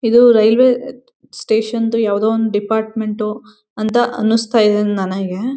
ಇದು ರೈಲ್ವೆ ಏ ಸ್ಟೇಷನ್ ದು ಯಾವ್ದೋ ಒಂದು ಡಿಪಾರ್ಟ್ಮೆಂಟ್ ಉ ಅಂತ ಅನ್ನಿಸ್ತಾ ಇದೆ ನನಗೆ.